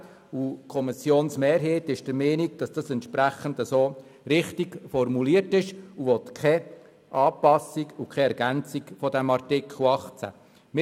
Die Kommissionsmehrheit ist der Meinung, der Artikel 18 sei richtig formuliert, und will weder eine Anpassung noch eine Ergänzung dieses Artikels.